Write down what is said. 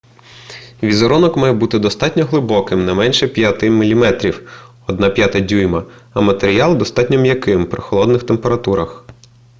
візерунок має бути достатньо глибоким не менше 5 мм 1/5 дюйма а матеріал достатньо м'яким при холодних температурах